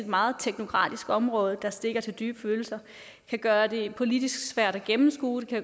meget teknokratisk område der stikker til dybe følelser kan gøre det politisk svært at gennemskue det